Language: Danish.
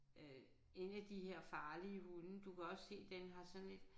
Øh 1 af de her farlige hunde du kan også se den har sådan et